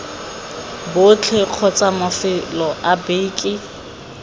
botlhe kgotsa mafelo a beke